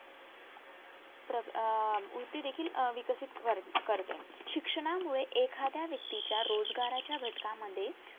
प्रग अह वृत्ती देखील अह विकसित वर करते शिक्षणामुळे एखाद्या व्यक्ती च्या रोजगाराच्या घटकामध्ये